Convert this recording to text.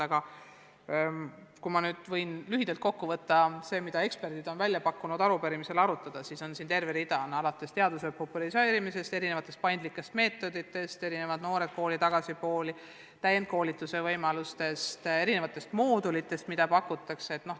Aga kui ma lühidalt kokku võtan selle, mida eksperdid on pakkunud arupärimisel arutada, siis siin on terve rida teemasid: teaduse populariseerimine, erinevad paindlikud meetodid, erinevad programmid, näiteks "Noored kooli" ja "Tagasi kooli", täiendkoolituse võimalused, erinevad moodulid, mida pakutakse.